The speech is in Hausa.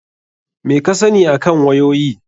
Meh ka sani akan wayoyi?